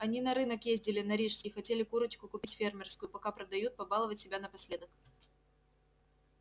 они на рынок ездили на рижский хотели курочку купить фермерскую пока продают побаловать себя напоследок